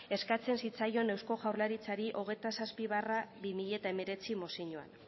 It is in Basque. eskatzen zitzaion eusko jaurlaritzari hogeita zazpi barra bi mila hemeretzi mozioan